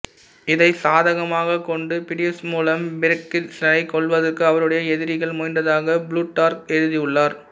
இதைச் சாதகமாகக் கொண்டு பீடியசு மூலம் பெரிக்கிளீசைக் கொல்வதற்கு அவருடைய எதிரிகள் முயன்றதாக புளூட்டார்க் எழுதியுள்ளார்